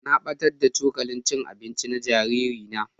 Na battar da cokalin cin abinci na jariri na.